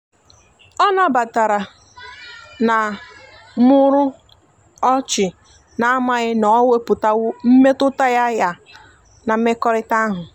ọ na batara na muru ochina amaghi na o weputawo mmetụta ya ya na mmekorita ahu.